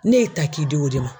Ne y'i ta k'i di o de ma.